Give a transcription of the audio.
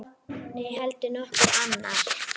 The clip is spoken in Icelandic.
Né heldur nokkur annar.